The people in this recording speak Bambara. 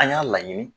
An y'a laɲini